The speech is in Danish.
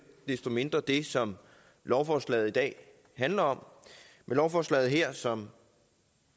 desto mindre det som lovforslaget i dag handler om med lovforslaget her som